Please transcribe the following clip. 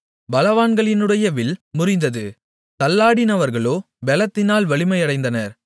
பலவான்களினுடைய வில் முறிந்தது தள்ளாடினவர்களோ பெலத்தினால் வலிமையடைந்தனர்